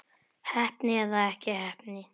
Heppni eða ekki heppni?